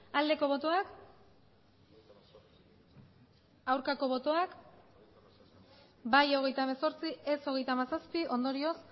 aldeko botoak aurkako botoak bai hogeita hemezortzi ez hogeita hamazazpi ondorioz